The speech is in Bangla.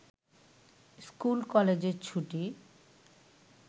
স্কুল-কলেজের ছুটি